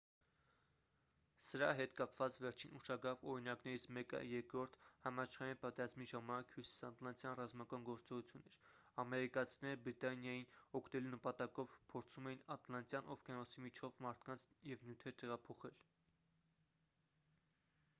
սրա հետ կապված վերջին ուշագրավ օրինակներից մեկը երկրորդ համաշխարհային պատերազմի ժամանակ հյուսիսատլանտյան ռազմական գործողությունն էր ամերիկացիները բրիտանիային օգնելու նպատակով փորձում էին ատլանտյան օվկիանոսի միջով մարդկանց և նյութեր տեղափոխել